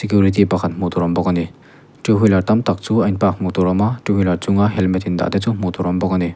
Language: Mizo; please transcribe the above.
hmuh tur a awm bawk ani two wheeler tam tak chu a in park hmuh tur a awm a two wheeler chung a helmet in dah te chu hmuh tur a awm bawk ani.